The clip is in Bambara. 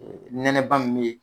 Ɛɛ nɛnɛba min be ye